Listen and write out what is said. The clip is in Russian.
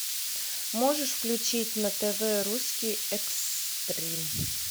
можешь включить на тв русский экстрим